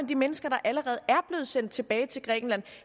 de mennesker der allerede er sendt tilbage til grækenland